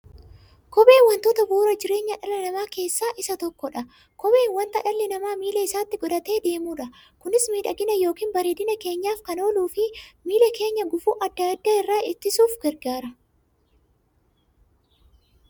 Kopheen wantoota bu'uura jireenya dhala namaa keessaa isa tokkodha. Kopheen wanta dhalli namaa miilla isaatti godhatee deemudha. Kunis miidhagani yookiin bareedina keenyaf kan ooluufi miilla keenya gufuu adda addaa irraa ittisuuf gargaara.